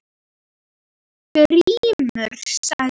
Grímur sagði